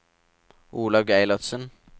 Olaug Eilertsen